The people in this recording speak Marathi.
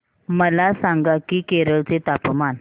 मला सांगा की केरळ चे तापमान